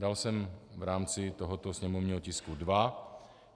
Dal jsem v rámci tohoto sněmovního tisku dva.